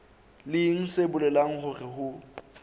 leng se bolelang hore ho